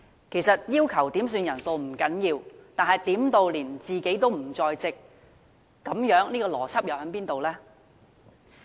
其實，要求點算人數不要緊，但點算時連自己也不在席，邏輯何在？